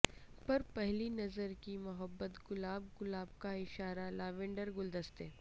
پر پہلی نظر کی محبت گلاب گلاب کا اشارہ لیوینڈر گلدستے